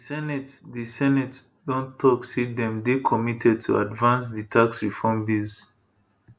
di senate di senate don tok say dem dey committed to advance di tax reform bills